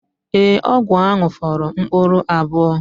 Ee, ọgwụ ahụ fọrọ mkpụrụ abụọ